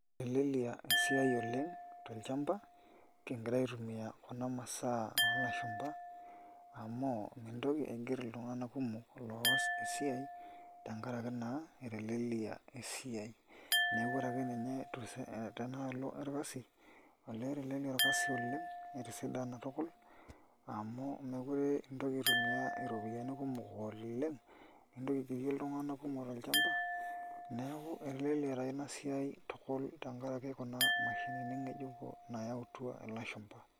Eteleliaa esiai oleng' tolchamba kingira aitumia kuna mashinini oolashumba amu mintoki aigerr iltung'anak kumok loos ena siai tenkaraki naa eteleliaa esiai neeku ore ake ninye tenaalo orkali olee eteleliaa orkasi oleng' etisidana tukul amu meekure ake intoki aitumiaa iropiyiani kumok oleng' igira aigerie iltung'anak kumok tolchamba neeku eteleliaa taa ina siai tukul tenkaraki kuna mashinini ng'ejuko naayautua ilashumba.